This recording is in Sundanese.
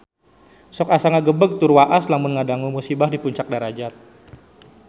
Sok asa ngagebeg tur waas lamun ngadangu musibah di Puncak Darajat